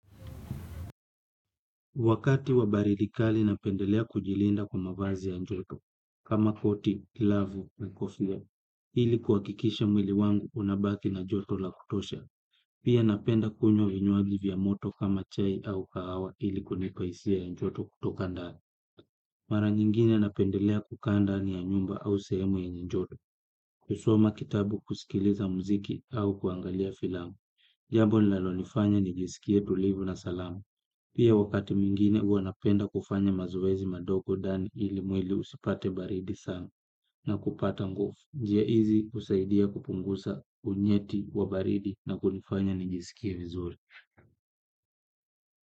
Wakati wa baridi kali napendelea kujilinda kwa mavazi ya joto, kama koti, glavu, na kofia, ili kuhakikisha mwili wangu unabaki na joto la kutosha, pia napenda kunywa vinywaji vya moto kama chai au kahawa ili kunipa hisia ya joto kutoka ndani. Mara nyingine napendelea kukaa ndani ya nyumba au sehemu yenye joto. Kusoma kitabu kusikiliza muziki au kuangalia filamu jambo lilalonifanya nijisikie tulivu na salama. Pia wakati mwingine huwa napenda kufanya mazoezi madogo ndani ili mwili usipate baridi sana na kupata nguvu. Njia hizi husaidia kupunguza unyeti wa baridi na kunifanya nijisikie vizuri.